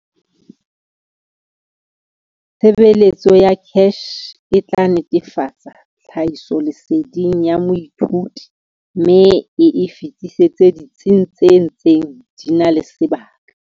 Tshebeletso ya CACH e tla netefatsa tlhahisoleseding ya moithuti mme e e fetisetse ditsing tse ntseng di na le sebaka.